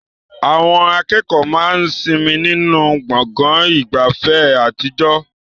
Àwọn akẹ́kọ̀ọ́ máa ń sinmi nínú gbọ̀ngàn ìgbafẹ́ àtijọ́.